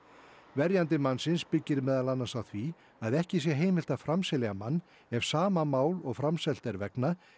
verjandi mannsins byggir málið meðal annars á því að ekki sé heimilt að framselja mann ef sama mál og framselt er vegna